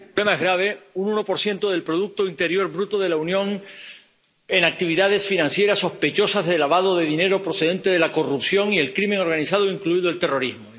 más grave un 1 del producto interior bruto de la Unión en actividades financieras sospechosas de lavado de dinero procedente de la corrupción y la delincuencia organizada, incluido el terrorismo.